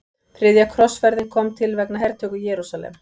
Þriðja krossferðin kom til vegna hertöku Jerúsalem.